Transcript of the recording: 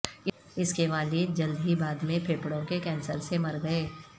اس کے والد جلد ہی بعد میں پھیپھڑوں کے کینسر سے مر گئے